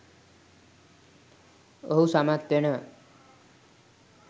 ඔහු සමත් වෙනවා.